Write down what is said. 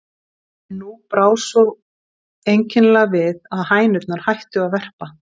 En nú brá svo einkennilega við, að hænurnar hættu að verpa.